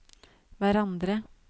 hverandre